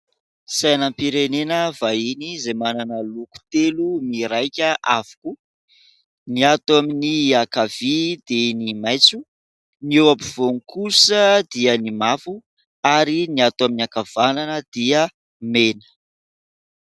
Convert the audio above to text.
Sainam-pirenena vahiny izay manana loko telo miraika avokoa. Ny ato amin'ny ankavia dia ny maitso, ny eo ampovoany kosa dia ny mavo ary ny ato amin'ny ankavanana dia ny mena.